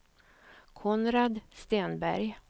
Konrad Stenberg